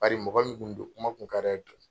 Bari mɔgɔ min tun don, kuma tun ka d'a ye.